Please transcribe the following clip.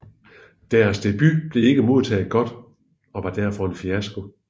Deres debut blev ikke modtaget godt og var derfor en fiasko